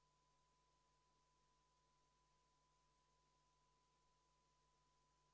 Lõpphääletusel avaldatakse ministrile umbusaldust, kui umbusalduse avaldamise poolt on Riigikogu koosseisu häälteenamus.